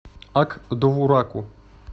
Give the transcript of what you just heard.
ак довураку